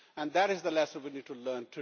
That is the lesson we need to learn.